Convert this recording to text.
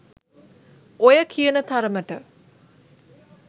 ඔය කියන තරමට